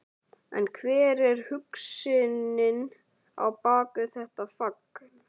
En hver er hugsunin á bak við þetta fagn?